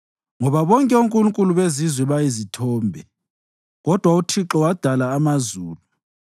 Ngoba bonke onkulunkulu bezizwe bayizithombe, kodwa uThixo wadala amazulu.